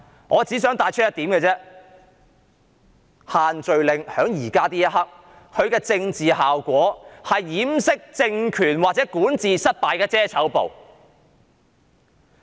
我只想帶出一點，便是此時此刻，限聚令的政治效果只是掩飾政權管治失敗的遮醜布。